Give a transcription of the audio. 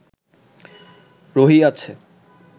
রহিয়াছে